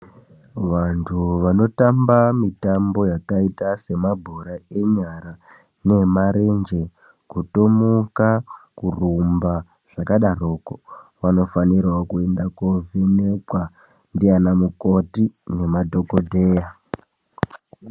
Vantu vanotamba mitambo yakaita semabhora enyara neemarenje, kutomuka kurumba zvakadaro vanofanirawo kuenda kovhenekwa ndiana mukoti kana madhokodheya.